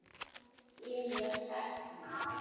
Hinir heppnu?